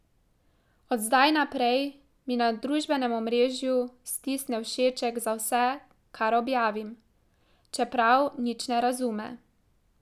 Od zdaj naprej mi na družbenem omrežju stisne všeček za vse, kar objavim, čeprav nič ne razume.